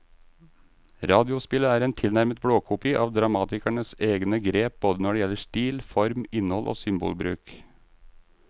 Radiospillet er en tilnærmet blåkopi av dramatikerens egne grep både når det gjelder stil, form, innhold og symbolbruk.